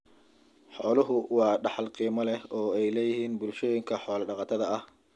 Xooluhu waa dhaxal qiimo leh oo ay leeyihiin bulshooyinka xoolo-dhaqatada ah.